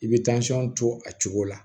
I bɛ to a cogo la